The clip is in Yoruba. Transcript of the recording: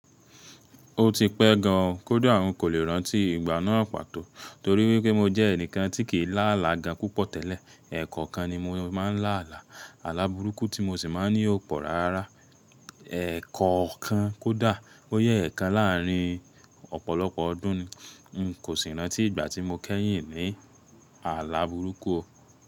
Ó ti pẹ́ gan kódá n kò lè rántí ìgbà náà pàtó torí wípé mo jẹ́ ẹnìkan tí kì í lá àlà gan púpọ̀ tẹ́lẹ̀. Ẹ̀kọokan ni mo máa ń lá àlà, àlà burúkú tí mo sì máa ń ní ọ̀ pọ̀ rárá. Ẹ̀kọ̀okan kódà, bóyá ẹ̀kan láàárín ọ̀pọ̀lọpọ̀ ọdún ni. N kò sì rántí ìgbà tí mo kẹ́yìn ní àlà burúkú o.